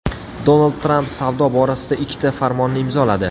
Donald Tramp savdo borasida ikkita farmonni imzoladi.